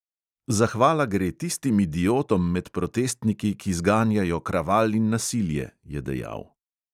"Zahvala gre tistim idiotom med protestniki, ki zganjajo kraval in nasilje," je dejal.